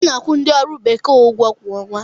A na-akwụ ndi ọrụ bekee ụgwọ kwa ọnwa.